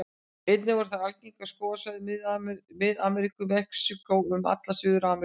Einnig eru þær algengar á skógarsvæðum Mið-Ameríku, Mexíkó og um alla Suður-Ameríku.